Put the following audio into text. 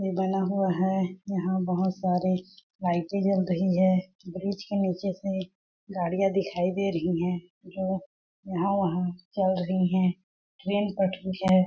बना हुआ है यहाँ बहोत सारी लाइटे जल रही है ब्रिज के निचे से गाड़िया दिखाई रही है लोग यहाँ वहाँ चल रहे है ट्रैन पटरी है।